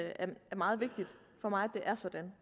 at det er meget vigtigt for mig